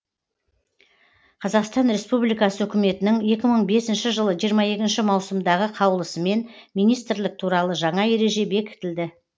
қазақстан республикасы үкіметінің екі мың бесінші жылы жиырма екінші маусымдағы қаулысымен министрлік туралы жаңа ереже бекітілді